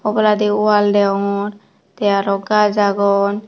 oboladi wall degongor te aro gaj agon.